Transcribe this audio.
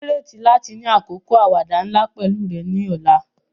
Mo nírètí láti ni àkókò àwàdà nla pẹ̀lu rẹ ni ọ̀la.